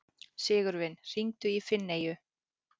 Sigurvin, hringdu í Finneyju.